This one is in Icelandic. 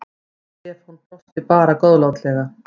Stefán brosti bara góðlátlega.